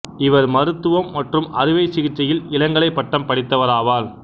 இவர் மருத்துவம் மற்றும் அறுவை சிகிச்சையில் இளங்கலைப் பட்டம் படித்தவராவார்